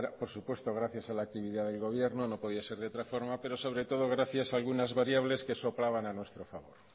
por supuesto gracias a la actividad del gobierno no podía ser de otra forma pero sobre todo gracias a algunas variables que soplaban a nuestro favor